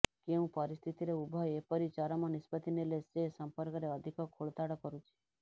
କେଉଁ ପରିସ୍ଥିତିରେ ଉଭୟ ଏପରି ଚରମ ନିଷ୍ପତ୍ତି ନେଲେ ସେ ସଂପର୍କରେ ଅଧିକ ଖୋଳତାଡ଼ କରୁଛି